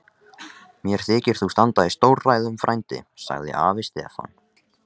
Mér þykir þú standa í stórræðum frændi, sagði afi Stefán.